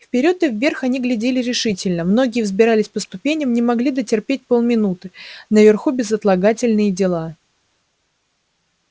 вперёд и вверх они глядели решительно многие взбирались по ступеням не могли дотерпеть полминуты наверху безотлагательные дела